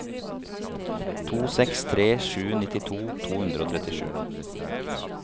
to seks tre sju nittito to hundre og trettisju